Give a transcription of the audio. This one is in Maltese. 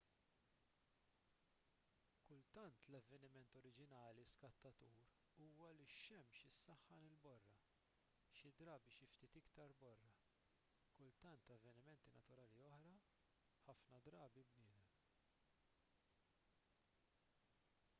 kultant l-avveniment oriġinali skattatur huwa li x-xemx issaħħan il-borra xi drabi xi ftit iktar borra kultant avvenimenti naturali oħra ħafna drabi bniedem